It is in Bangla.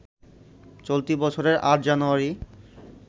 চলতি বছরের ৮ জানুযারি